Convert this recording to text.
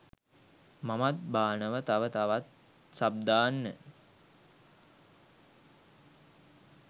මමත් බානව තව තවත් සබ් දාන්න